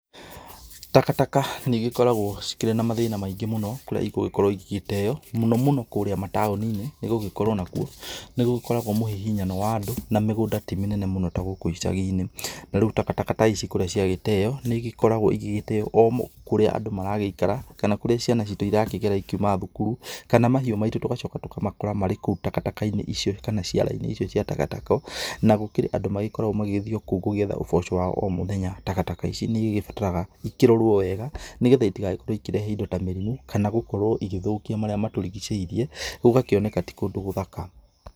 Taka taka nĩ igĩkoragwo cikĩrĩ na mathĩna maingĩ mũno kũríĩ ĩgũgĩkorwo igĩteo mũno mũno kũrĩa mataoni-inĩ nĩgũgĩkorwo nakũo nĩgũgĩkoragwo mũhihinyano wa andũ na mĩgũnda tĩ mĩnene mũno ta gũkũ icagi-inĩ, na rĩu takataka ta ici kũrĩa ciagĩteo nĩ igĩkoragwo igĩgĩteo kũrĩa andũ maragĩikara kana kũrĩa andũ maragĩikara kana kũrĩa ciana citu irakĩgera cikĩuma cukuru kana mahiu maitũ tũgacoka tũkamakora marĩ kũu takataka-inĩ icio kana ciara-inĩ icio cia takataka, nagũkĩrĩ andũ magĩkoragwo magĩgĩthiĩ o kũu gũgĩetha ũboco wa o mũthenya ,takataka ici nĩ igĩbataraga ikĩrorwo wega nĩgetha itigakorwo ikĩrehe mĩrimũ kana gũkorwo igĩthokia marĩa matũrigĩcĩirie gũgakĩoneka ti kũndũ gũthaka.